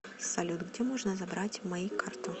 салют где можно забрать мои карту